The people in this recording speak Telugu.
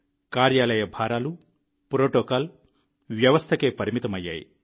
కార్యాలయ భారాలు ప్రోటోకాల్ వ్యవస్థకే పరిమితమయ్యాయి